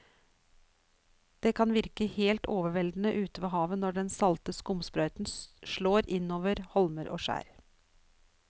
Det kan virke helt overveldende ute ved havet når den salte skumsprøyten slår innover holmer og skjær.